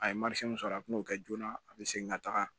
A ye sɔrɔ a bi n'o kɛ joona a bi segin ka taga